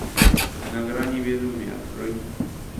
на грани безумия открой